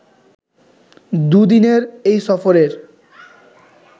দুদিনের এই সফরের